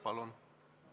Palun!